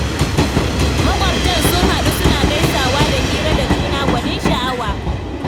Maƙwabtan sun haɗu suna gaisawa da hira da juna, gwanin sha'awa